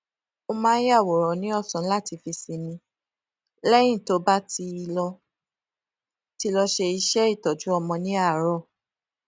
ó máa ń yàwòrán ní òsán láti fi sinmi léyìn tó bá ti lọ ti lọ ṣe iṣé ìtọjú ọmọ ní àárò